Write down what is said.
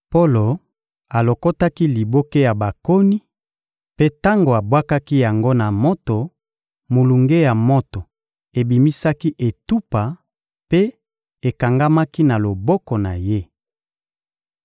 Polo alokotaki liboke ya bakoni; mpe tango abwakaki yango na moto, molunge ya moto ebimisaki etupa mpe ekangamaki na loboko na ye.